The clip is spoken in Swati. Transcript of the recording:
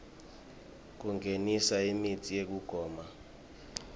kungenisa imitsi yekugoma